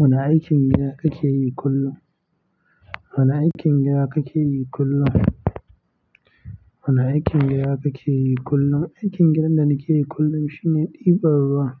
Wana aikin gida kake yi kullum? Wana aikin gida kake yi kullum? Wana aikin gida kake yi kullum? Aikin gidan da nake yi kullum shine ɗiban ruwa.